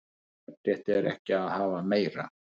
Jafnrétti er ekki að hafa meira